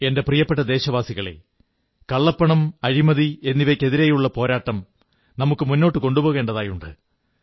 എന്റെ പ്രിയപ്പെട്ട ദേശവാസികളേ കള്ളപ്പണം അഴിമതി എന്നിവയ്ക്കെതിരെയുള്ള പോരാട്ടം നമുക്കു മുന്നോട്ടു കൊണ്ടുപോകേണ്ടതുണ്ട്